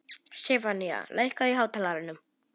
Stefanía, lækkaðu í hátalaranum.